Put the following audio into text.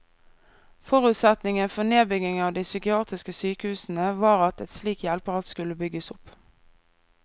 Forutsetningen for nedbyggingen av de psykiatriske sykehusene var at et slikt hjelpeapparat skulle bygges opp.